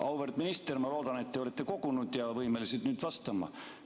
Auväärt minister, ma loodan, et te olete end kogunud ja võimeline nüüd vastama.